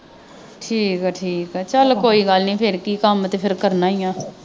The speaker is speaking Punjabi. ਠੀਕ ਆ ਠੀਕ ਆ ਚੱਲ ਕੋਈ ਗੱਲ ਨਹੀਂ ਫੇਰ ਕਿ ਕੰਮ ਤੇ ਫੇਰ ਕਰਨਾ ਹੀ ਹੈ।